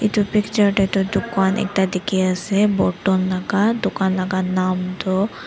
edu picture tae tu dukan ekta dikhiase borton laka dukan laka nam toh.